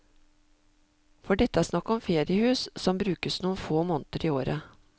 For dette er snakk om feriehus, som brukes noen få måneder i året.